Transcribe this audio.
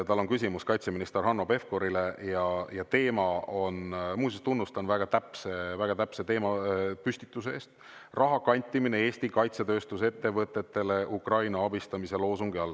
Tal on küsimus kaitseminister Hanno Pevkurile ja teema on – muuseas, tunnustan väga täpse teemapüstituse eest – raha kantimine Eesti kaitsetööstusettevõtetele Ukraina abistamise loosungi all.